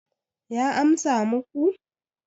ya amsa muku